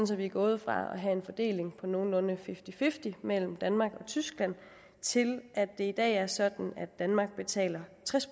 så vi er gået fra at have en fordeling på nogenlunde fifty fifty mellem danmark og tyskland til at det i dag er sådan at danmark betaler tres